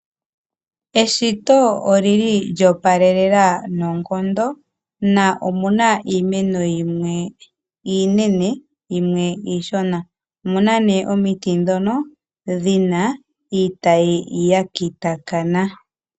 Eshito oli li lyo opalelela noonkondo, na omuna iimeno yimwe iinene yimwe iishona. Omuna nee omiti ndhono dhi na iitayi ya kitakana.